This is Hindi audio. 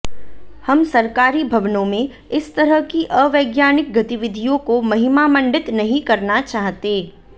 हम सरकारी भवनों में इस तरह की अवैज्ञानिक गतिविधियों को महिमामंडित नहीं करना चाहते